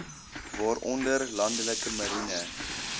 waaronder landelike marine